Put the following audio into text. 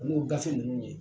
Ano gafe ninnu ye